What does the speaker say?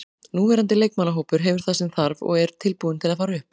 Núverandi leikmannahópur hefur það sem þarf og er tilbúinn til að fara upp.